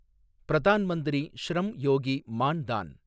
பிரதான் மந்திரி ஷ்ரம் யோகி மான் தான்